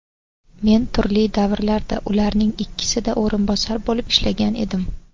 Men turli davrlarda ularning ikkisida o‘rinbosar bo‘lib ishlagan edim.